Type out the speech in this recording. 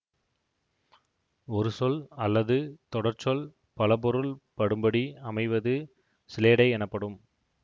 ஒரு சொல் அல்லது தொடர்ச்சொல் பல பொருள் படும்படி அமைவது சிலேடை எனப்படும்